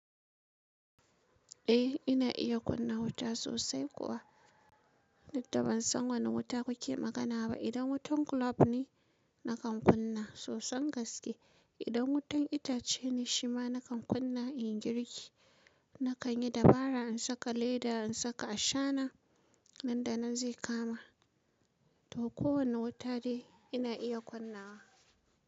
Eh ina iya kunna wuta sosai kuwa. Duk da ban san wane wuta kuke magana ba. Idan wutan globe ne nakan kunna sosan gaske. Idan wutan itace ne shima nakan kunna in girki. Nakan yi dabara in saka leda, in saka ashana, nan da nan zai kama. To kowane wuta dai ina iya kunna wa.